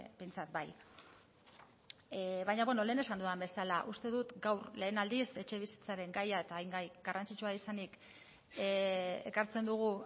behintzat bai baina beno lehen esan dudan bezala uste dut gaur lehen aldiz etxebizitzaren gaia eta hain gai garrantzitsua izanik ekartzen dugu